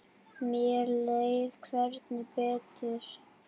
Mér leið hvergi betur.